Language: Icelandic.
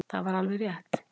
Það var alveg rétt.